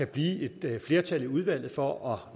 blive flertal i udvalget for at